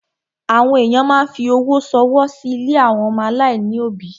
Àwọn èyàn máa ń fi owó ṣọwọ́ sí ilé àwọn ọmọ aláìní òbí.